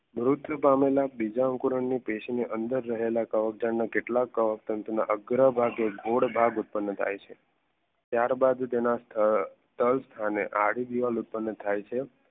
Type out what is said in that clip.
મૃત્યુ પામેલા બીજા અંકુરન કવક જાળ કેટલાક કવક તંતુ ના ગોડ ભાગ ઉત્પન્ન થાય છે ત્યારબાદ તેના સ્થળ અને આડી દીવાલ ઉત્પન્ન